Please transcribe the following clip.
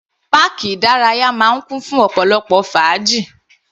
Páàkì ìdárayá máa ń kún fún ọ̀pọ̀lọpọ̀ fàájì.